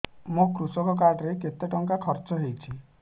ମୋ କୃଷକ କାର୍ଡ ରେ କେତେ ଟଙ୍କା ଖର୍ଚ୍ଚ ହେଇଚି